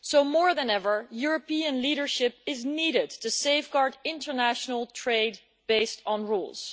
More than ever, European leadership is needed to safeguard international trade based on rules.